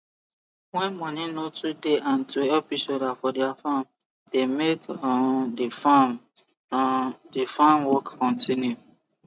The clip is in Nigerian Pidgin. when money no too dey hand to help each other for their farm dey make um the farm um the farm work continue